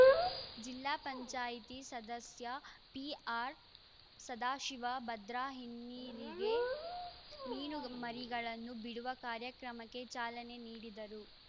ಜಿಲ್ಲಾ ಪಂಚಾಯಿತಿ ಸದಸ್ಯ ಪಿಆರ್‌ ಸದಾಶಿವ ಭದ್ರಾ ಹಿನ್ನೀರಿಗೆ ಮೀನುಮರಿಗಳನ್ನು ಬಿಡುವ ಕಾರ್ಯಕ್ರಮಕ್ಕೆ ಚಾಲನೆ ನೀಡಿದರು